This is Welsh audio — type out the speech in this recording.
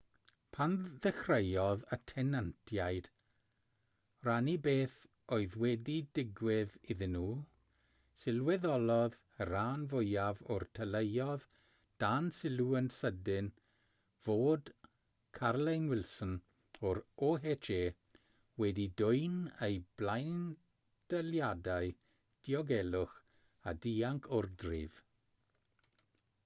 pan ddechreuodd y tenantiaid rannu beth oedd wedi digwydd iddyn nhw sylweddolodd y rhan fwyaf o'r teuluoedd dan sylw yn sydyn fod carolyn wilson o'r oha wedi dwyn eu blaendaliadau diogelwch a dianc o'r dref